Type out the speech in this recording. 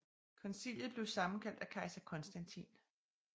Koncilet blev sammenkaldt af kejser Konstantin